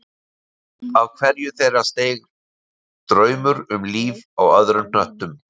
Upp af hverju þeirra steig draumur um líf á öðrum hnöttum